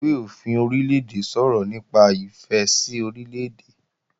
Ìwé-òfin Orílè-èdè sọ̀rọ̀ nípa ìfẹ́ sí Orílè-èdè